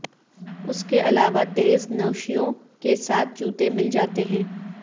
اس کے علاوہ تیز نوشیوں کے ساتھ جوتے مل جاتے ہیں